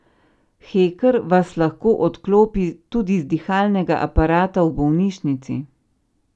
Heker vas lahko odklopi tudi z dihalnega aparata v bolnišnici.